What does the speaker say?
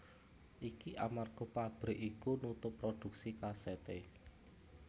Iki amarga pabrik iku nutup prodhuksi kasèté